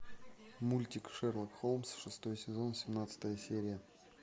мультик шерлок холмс шестой сезон семнадцатая серия